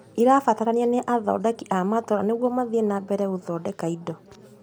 Irabatarania nĩ athondeki a matũra nĩguo mathii na mbere na gũthondeka indo